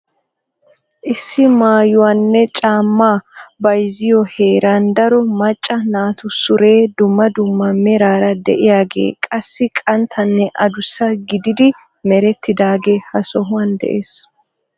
Issi maayuwaanne caammaa bayzziyo heeraan daro macca naatu sure dumma dumma meraara de'iyaagee qassi qanttanne adussa gididi merettidaagee ha sohuwan de'es.